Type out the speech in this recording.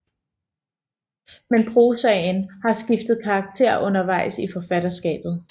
Men prosaen har skiftet karakter under vejs i forfatterskabet